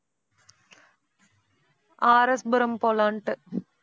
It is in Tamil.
RS புரம் போலான்ட்டு.